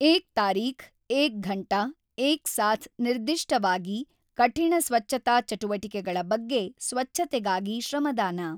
ಏಕ್ ತಾರೀಖ್ ಏಕ್ ಘಂಟಾ ಏಕ್ ಸಾಥ್ ನಿರ್ದಿಷ್ಟವಾಗಿ ಕಠಿಣ ಸ್ವಚ್ಚತಾ ಚಟುವಟಿಕೆಗಳ ಬಗ್ಗೆ ಸ್ವಚ್ಚತೆಗಾಗಿ ಶ್ರಮದಾನ.